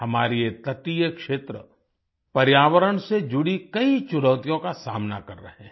हमारे ये तटीय क्षेत्र पर्यावरण से जुडी कई चुनौतियों का सामना कर रहे हैं